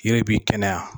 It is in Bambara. Yiri b'i kɛnɛya